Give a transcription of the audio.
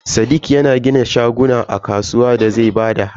Sadiq yana gina shaguna a kasuwa da zai bada haya.